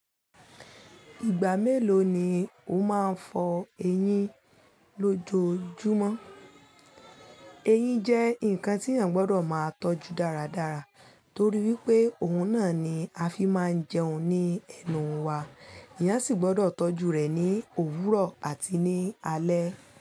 Ìgbà mélòó ni o máa ń fọ eyín lójojúmọ́? Eyín jẹ́ nǹkan tí èèyàn gbọ́dọ̀ máa tọ́jú dáradára torí wípé òun náà ni a fi máa ń jẹun ní ẹnu wa. Eeyàn sì gbọ́dọ̀ tọ́jú rẹ̀ ní òwúrọ̀ àti ní alẹ́.